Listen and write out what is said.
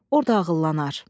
Orda ağıllannar.